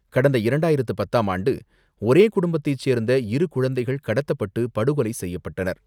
கடந்த இரண்டாயிரத்து பத்தாம் ஆண்டு ஒரே குடும்பத்தை சேர்ந்த இரு குழந்தைகள் கடத்தப்பட்டு, படுகொலை செய்யப்பட்டனர்.